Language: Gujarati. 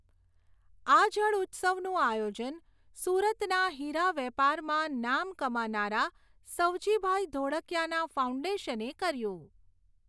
આ જળઉત્સવનું આયોજન સુરતના હીરાવેપારમાં નામ કમાનારા સવજીભાઈ ધોળકિયાના ફાઉન્ડેશને કર્યું.